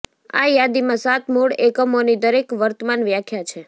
આ યાદીમાં સાત મૂળ એકમોની દરેક વર્તમાન વ્યાખ્યા છે